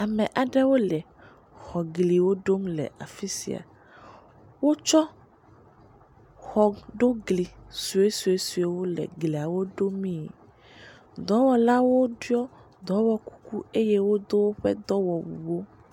Ame aɖewo le egliwo ɖom le afi sia. Wotsɔ xɔ ɖo gli suesuesuewo le gliawo ɖomee. Dɔwɔlawo ɖɔ dɔwɔ kuku eye wodo woƒe dɔwɔwu.